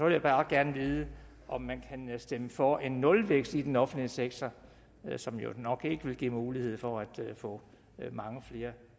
jeg bare gerne vide om man kan stemme for en nulvækst i den offentlige sektor som jo nok ikke vil give mulighed for at få mange flere